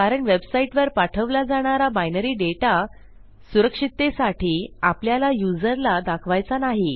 कारण वेबसाईटवर पाठवला जाणारा बायनरी दाता सुरक्षिततेसाठी आपल्याला युजरला दाखवायचा नाही